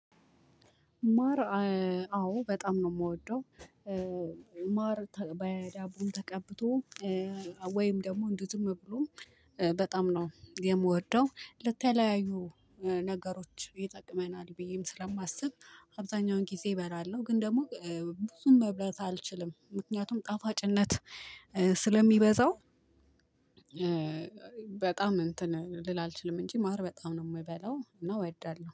ማር አዎ በጣም ነው ምወደው ማር በዳቦ ተቀብቶ ወይም ደግሞ እንዲህ ዝም ብሎ በጣም ነው የምወደው ለተለያዩ ነገሮች ይጠቅመናል ብዬም ስለማስብ አብዛኛውን ጊዜ እበላለሁ ግን ደግሞ ብዙም መብላት አልችልም ምክንያቱም ጣፋጭነት ስለሚበዛው በጣም እንትን ልል አልችልም እንጂ ማር በጣም ነው ምበላው እና ወዳለሁ።